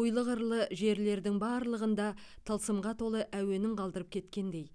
ойлы қырлы жерлердің барлығында тылсымға толы әуенін қалдырып кеткендей